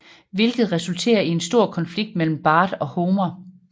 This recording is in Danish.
Hvilket resulterer i en stor konflikt mellem Bart og Homer